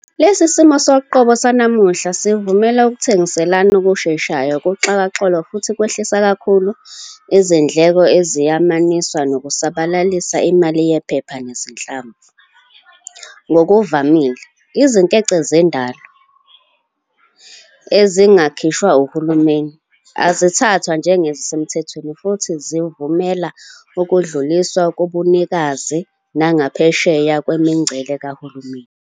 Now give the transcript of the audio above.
Lesi simo soqobo sanamuhla sivumela ukutyengiaelana okusheshayo kuxhakaxholo futhi kwehlisa kakhulu izindleko eziyamaniswa nokusabalalisa imali yephepha nezinhlamvu. Ngokuvamile, izinkece zendwalazo, ezingakhishwa uhulumeni, azithathwa njengezisemthethweni futhi zivumela ukudluliswa kobunikazi nangaphesheya kwemingcele kahulumeni.